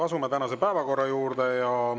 Asume tänase päevakorra juurde.